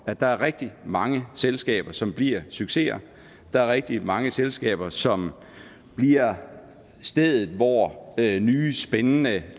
at der er rigtig mange selskaber som bliver succeser der er rigtig mange selskaber som bliver stedet hvor nye spændende